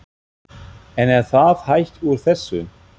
En er það hægt úr þessu?